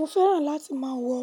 Mo fẹ́ràn láti má a wọ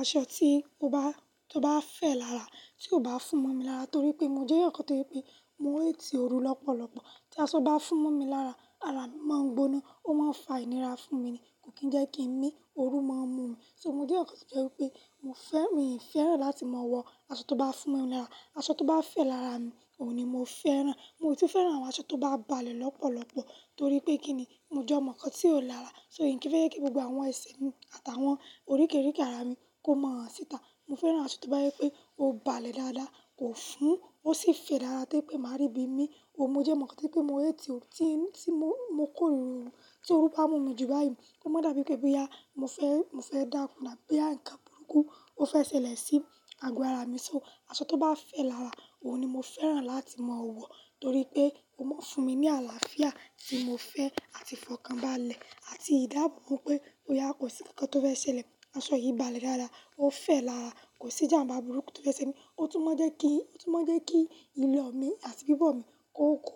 aṣọ tí ó bá, tó bá fẹ̀ lára, tí o bá fún momi lára torí pé mo jẹ́ eyaǹ kan tó rí pé mo hate ooru lọ́pọ̀lọpọ̀ Tí aṣọ bá fún mú mi lára, ara mi máa ń gbóná ó máa ń fa ìnira fún mi ni kò kì n jẹ́ kí n mi ooru máa ń mú mi. So mo jẹ́ ǹkan tó jẹ́ pé mo fẹ́, mi ò fẹ́ràn láti máa wọ aṣọ tó bá fún mú mi lára. Aṣọ tó bá fẹ̀ lára mi òun ni mo fẹ́ràn, mo sì tun fẹ́ràn àwọn aṣọ tó bá balẹ̀ lọ́pọ̀lọpọ̀ torí pé kí ni? Mo jẹ́ omo kan tí ò lára so n kì í fẹ́ jẹ kí gbogbo àwọn ẹṣe mi àti àwọn oríkìríkì ara mi kó máa han ṣìta. Mo fẹ́ràn aṣọ tó bá jẹ́ pé o balẹ̀ dáadáa kò fún ó sì fẹ̀ lára tori pé máa rí bí mi. But mo je omo kan to jẹ́ pé mo hate o ti tí mo, mo kó rọrùn. Tí ooru bá mú mi jù báyìí ó máa n dà bí pé boya mo fẹ́, mo fẹ́ dáku àbí boya ǹkan burúkú ó fẹ́ ṣẹlẹ̀ sí ago ara mi. So aṣọ tó bá fẹ̀ lára òun ni mo fẹ́ràn láti máa wọ torí pé ó máa fún mi ní àlàáfíà tí mo fẹ́ àti ifọkànbalẹ̀ àti ìdábobo pé òyà kò sí nkankan tó fẹ́ ṣẹlẹ̀. Aṣọ yìí balẹ̀ dáadáa ó fẹ̀ lára kò sí ìjàmbá burúkú tó fẹ́ ṣe mí. Ó tún maa n jẹ́ kí, ó tún maa n jẹ́ kí ilo mi àti bíbọ̀ mi kó, kó,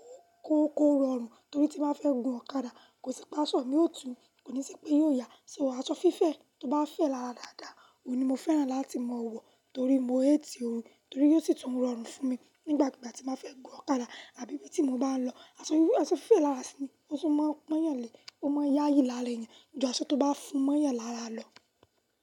kó, kó rọrùn torí tí máa fẹ́ gún ọ̀kadà kò sì pa aṣọ mi òòtú kò ní sì pé yóò yà. So àwọn aṣọ fífẹ̀ tó bá fẹ̀ lára dáadáa òun ni mo fẹ́ràn láti máa wọ torí mo hate ooru torí ó sì tún rọrùn fún mi nígbà ki igbà tí n ba fẹ́ gún ọ̀kadà àbí ibí tí mo bá ń lọ. Aṣọ yí, aṣọ fífẹ̀ lára ṣí ni ó tún máa pon yànlẹ̀ ó máa ń yayi lára ènìyàn ju aṣọ tó bá fún mọ́yàn lára lọ.